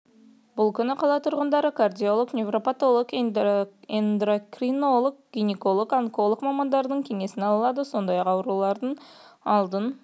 бұл күні қала тұрғындары кардиолог невропатолог эндокринолог гинеколог онколог мамандардың кеңесін ала алады сондай-ақ аурулардың алдын